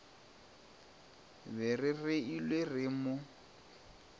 be re reilwe re no